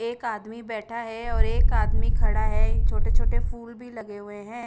एक आदमी बेठा है और एक आदमी खड़ा है छोटे छोटे फूल भी लगे हुए है।